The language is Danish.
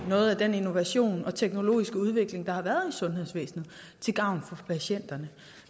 noget af den innovation og den teknologiske udvikling der har været i sundhedsvæsenet til gavn for patienterne